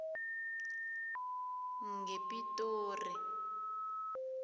ngepitori